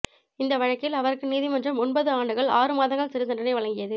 இந்த வழக்கில் அவருக்கு நீதிமன்றம் ஒன்பது ஆண்டுகள் ஆறு மாதங்கள் சிறைத்தண்டனை வழங்கியது